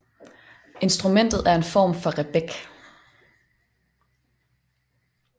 Instrumentet er en form for rebec